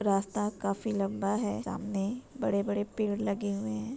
रास्ता काफी लंबा है सामने बड़े-बड़े पेड़ लगे हुए हैं।